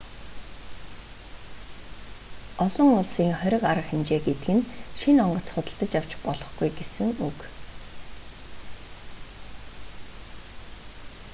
олон улсын хориг арга хэмжээ гэдэг нь шинэ онгоц худалдаж авч болохгүй гэсэн үг